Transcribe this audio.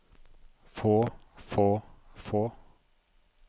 få få få